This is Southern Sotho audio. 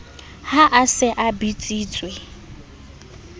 ha a se a bitsitswe